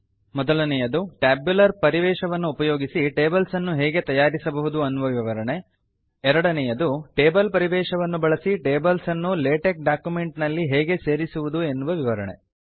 ಮೊದಲನೆಯದು ಟ್ಯಾಬ್ಯುಲರ್ ಪರಿವೇಶವನ್ನು ಉಪಯೋಗಿಸಿ ಟೇಬಲ್ಸ್ ಅನ್ನು ಹೇಗೆ ತಯಾರಿಸಬಹುದು ಅನ್ನುವ ವಿವರಣೆ ಎರಡನೆಯದು ಟೇಬಲ್ ಪರಿವೇಶವನ್ನು ಬಳಸಿ ಟೇಬಲ್ಸ್ ಅನ್ನು ಲೇಟೆಕ್ ಡಾಕ್ಯುಮೆಂಟ್ -ನಲ್ಲಿ ಹೇಗೆ ಸೇರಿಸುವುದು ಎನ್ನುವ ವಿವರಣೆ